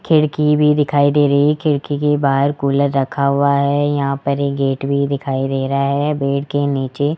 खिड़की भी दिखाई दे रही है खिड़की के बाहर कूलर रखा हुआ है यहां पर एक गेट भी दिखाई दे रहा है बेड के नीचे --